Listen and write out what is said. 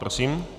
Prosím.